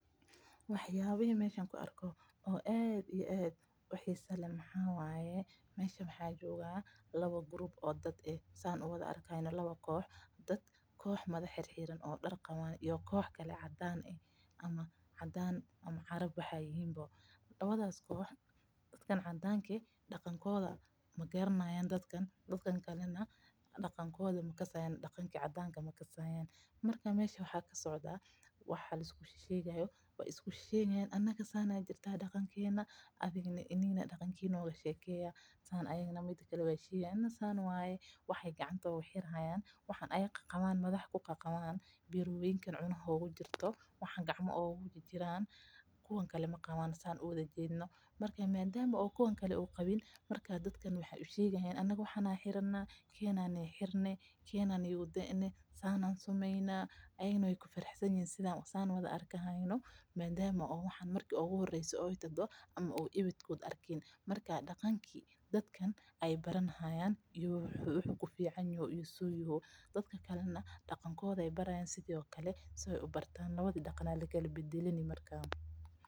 Wax yaabaha aan arko oo aad xiisa uleh waxaa waye, waxa jooga laba koox, koox marya xirxiran iyo koox cadaan ah, labadaba daqankooda makasaayan, wax ayeey gacanta oogu xiri haayan, waxan aay qabaan kuwa kale ma qabaan, marka kuwa kale ayeey usheegi haayan, marka daqanki dadkan ayeey barani haayan, dadka kalena daqanka ayeey bari haayan, labada daqan ayaa lakala badalani marka.